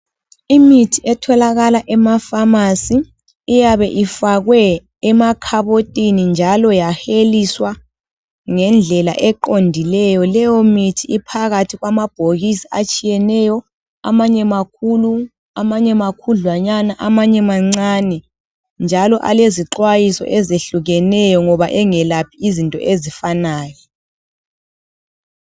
Imithi etholakala emapharmacy, iyabe ifakwe emakhabotini njalo yaheliswa ngendlela eqondileyo. Leyomithi iphakathi kwamabhokisi atshiyeneyo. Amanye makhulu, amanye makhudlwanyana, amanye mancane. Njalo alezixwayiso ezehlukeneyo ngoba engelaphi izinto ezifanayo.